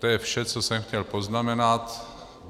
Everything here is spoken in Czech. To je vše, co jsem chtěl poznamenat.